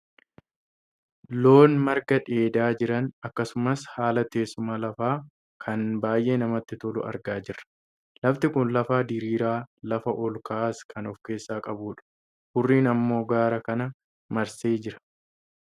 Loon marga dheedaa jiran akkasumas haala teessuma lafaa kan baayyee namatti tolu argaa jirra. Lafti kun lafa diriiraa, lafa ol ka'aas kan of keessaa qabudha. Huurriin ammoo gaara kana marsee jira.